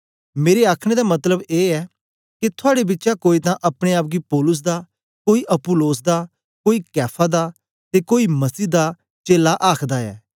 मेरे आखने दा मतलब ए ऐ के थुआड़े बिचा कोई तां अपने आप गी पौलुस दा कोई अपुल्लोस दा कोई कैफा दा ते कोई मसीह दा चेला आखदा ऐ